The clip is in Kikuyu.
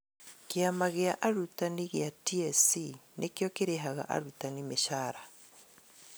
Kĩama gĩa arutani gĩa TSC nĩkĩo kĩrĩhaga arutani mĩcara